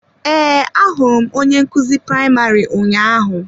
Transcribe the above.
Ee, ahụrụ m onye nkuzi praịmarị ụnyahụ.